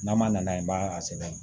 N'a ma nana ye i b'a a sɛbɛn